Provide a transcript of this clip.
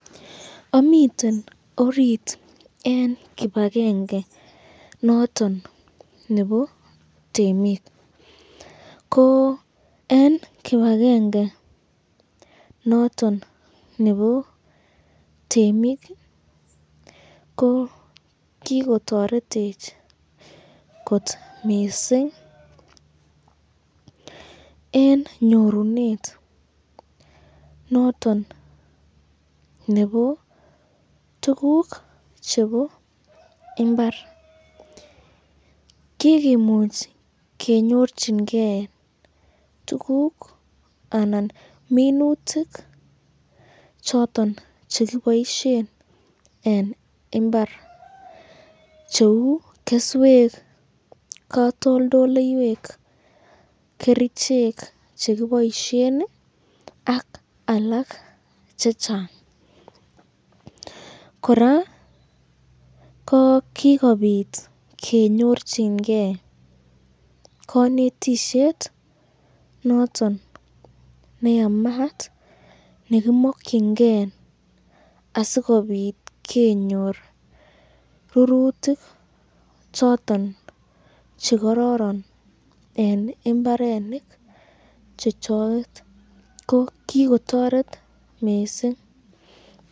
amiten orit eng kibakenge noton nebo temik, ko eng kibakenge noton nebo temik ko kikotoretech kot mising eng nyorunet nebo tukuk chebo imbar, kikomuch kenyorchinken anan minutik choton chekeboisyen eng imbar cheu keswek, katoldoleiwek , kerichek chekeboisyen ak alk chechang ,koraa kikobit kenyorchinken kanetisyet noton neyamat nekimakyinken asikobit konyor rurutik choton chekaroron eng imbarenik chechoket, ko kikotoret mising.